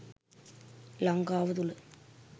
ලංකාව තුළ